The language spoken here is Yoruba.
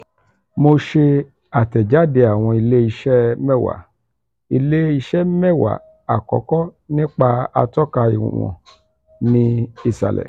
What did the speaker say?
mo se atejade awon ile-ise mẹwa ile-ise mẹwa akoko nipa atọka iwon ni isalẹ.